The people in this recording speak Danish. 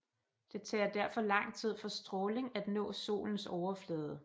Det tager derfor lang tid for stråling at nå solens overflade